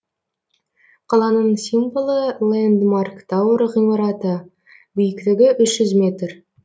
қаланың символы лэндмарк тауэр ғимараты биіктігі үш жүз метр